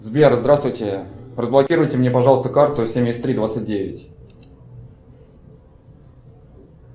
сбер здравствуйте разблокируйте мне пожалуйста карту семьдесят три двадцать девять